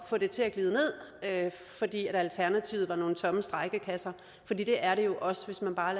få det til at glide ned fordi alternativet var nogle tomme strejkekasser for det er det jo også hvis man bare